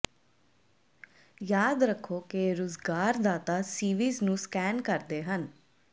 ਯਾਦ ਰੱਖੋ ਕਿ ਰੁਜ਼ਗਾਰਦਾਤਾ ਸੀਵੀਜ਼ ਨੂੰ ਸਕੈਨ ਕਰਦੇ ਹਨ